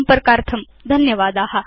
संपर्कार्थं धन्यवादा